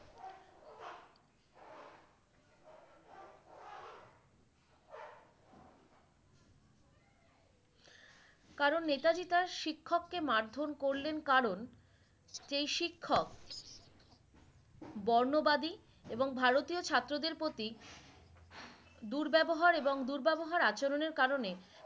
কারন নেতাজী তার শিক্ষক কে মারধর করলেন কারন যে শিক্ষক বর্ণবাদী এবং ভারতীয় ছাত্রদের প্রতি দূর ব্যবহার এবং দূর ব্যবহার আচরনের কারনে